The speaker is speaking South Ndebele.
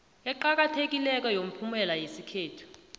eqakathekileko yomphumela yesithathu